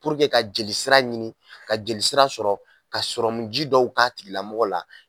ka jelisira ɲini ka jelisira sɔrɔ ka sɔrɔ mun ji dɔw k'a tigilamɔgɔ la